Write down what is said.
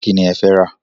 Kíni ẹ̀ fẹ́ rà?